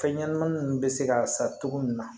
Fɛn ɲɛnɛmani nunnu bɛ se ka sa cogo min na